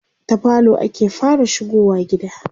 ta falo ake fara shigowa gida